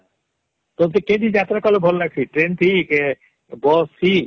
ତତେ କେ ଥି ଯାତ୍ରା କଲେ ଭଲ ଲାଂଜିସି Train ଥି କେ Bus ଥି